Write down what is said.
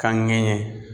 Kan ŋɛɲɛ